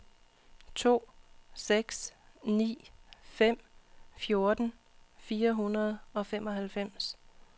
to seks ni fem fjorten fire hundrede og femoghalvfems